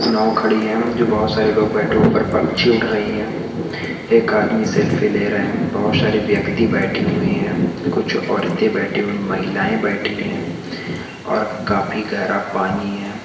नाव खड़ी है बहुत सारे लोग बैठे हैं ऊपर पंछी उड़ रही है एक आदमी सेल्फी ले रहा है बहुत सारे व्यक्ति बैठे हुए हैं और कुछ औरतें बैठी हुई महिलाएं बैठी है और काफी गहरा पानी है|